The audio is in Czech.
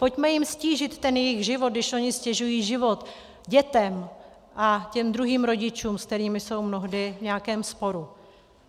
Pojďme jim ztížit ten jejich život, když oni ztěžují život dětem a těm druhým rodičům, s kterými jsou mnohdy v nějakém sporu.